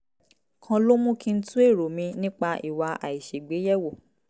kan ló mú kí n tún èrò mi nípa ìwà àìṣègbè yẹ̀ wò